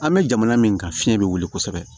An bɛ jamana min kan fiɲɛ bɛ wuli kosɛbɛ